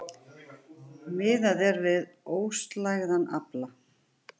Miðað er við óslægðan afla